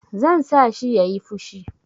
Zan sa shi ya yi fushi.